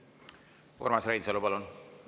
Urmas Reinsalu, palun!